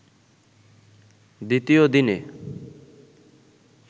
দ্বিতীয় দিনে